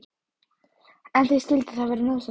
En því skyldi það vera nauðsynlegt?